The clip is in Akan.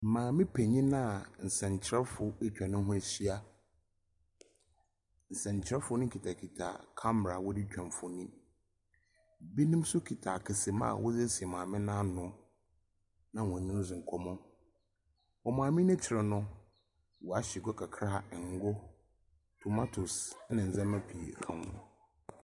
Maame penyin a nsɛnkyerɛwfo atwa ne ho ahyia. Nsɛnkyerɛwfo no kitakita camera a wɔdze retwa mfonyi. Binom mso kita akɛsa mu a wɔde asi maame no n'ano na wɔnye no adzi nkɔmmɔ. Maame no n'ekyir no, wɔahyɛ gua kakra; ngo, tomatoes na ndzɛma pii ka ho.